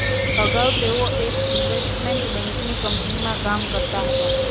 અગાઉ તેઓ એક ઈન્વેસ્ટમેન્ટ બેન્કિંગ કંપનીમાં કામ કરતા હતા